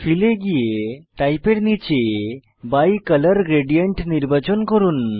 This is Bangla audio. ফিল এ গিয়ে টাইপ এর নীচে বাইকোলোর গ্রেডিয়েন্ট নির্বাচন করুন